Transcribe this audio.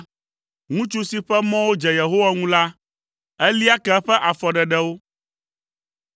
Ŋutsu si ƒe mɔwo dze Yehowa ŋu la, elia ke eƒe afɔɖeɖewo;